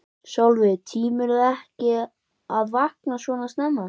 Sólveig: Tímirðu ekki að vakna svona snemma?